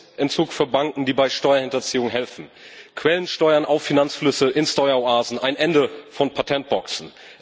Lizenzentzug für Banken, die bei Steuerhinterziehung helfen, Quellensteuern auf Finanzflüsse in Steueroasen, ein Ende von Patentboxen.